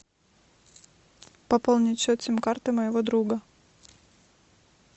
пополнить счет сим карты моего друга